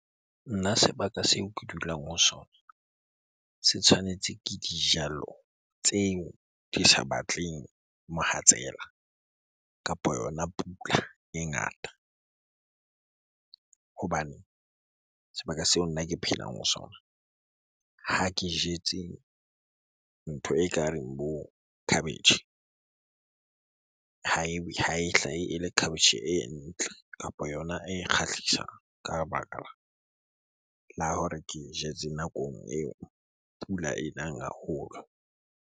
Nna sebaka seo ke dulang ho sona se tshwanetse ke dijalo tseo di sa batleng mohatsela kapo yona pula e ngata. Hobane sebaka seo nna ke phelang ho sona ha ke jetse ntho e ka reng bo khabetjhe, ha e hlahe ele khabetjhe e ntle kapo yona e kgahlisang ka baka la hore ke e jetse nakong eo pula e nang haholo.